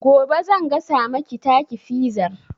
Gobe zan gasa maki taki fizar